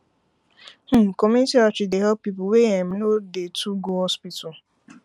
hmmcommunity outreach dey help people wey em no dey too go hospital